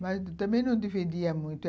Mas também não defendia muito.